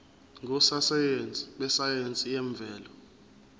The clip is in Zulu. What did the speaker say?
ngososayense besayense yemvelo